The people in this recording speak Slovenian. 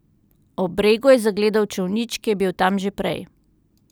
Ob bregu je zagledal čolnič, ki je bil tam že prej.